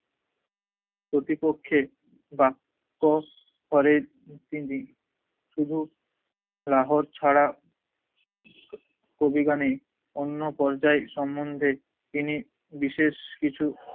প্রতিপক্ষের বাক্য ধরেন তিনি শুধু লাহোর ছাড়া কবিগানে অন্য পর্যায়ে সমন্ধে তিনি বিশেষ কিছু